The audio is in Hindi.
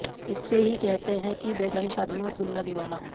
इसे ही कहते हैं कि बेगानी शादी में अब्दुल्ला दीवाना